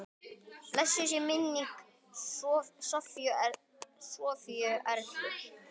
Blessuð sé minning Sofíu Erlu.